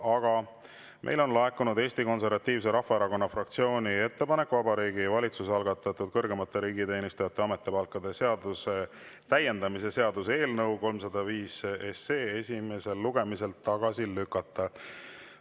Aga meile on laekunud Eesti Konservatiivse Rahvaerakonna fraktsiooni ettepanek Vabariigi Valitsuse algatatud kõrgemate riigiteenijate ametipalkade seaduse täiendamise seaduse eelnõu 305 esimesel lugemisel tagasi lükata.